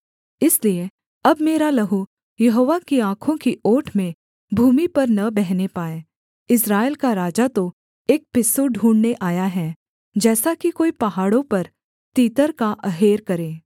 इसलिए अब मेरा लहू यहोवा की आँखों की ओट में भूमि पर न बहने पाए इस्राएल का राजा तो एक पिस्सू ढूँढ़ने आया है जैसा कि कोई पहाड़ों पर तीतर का अहेर करे